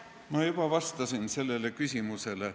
Ma juba vastasin sellele küsimusele.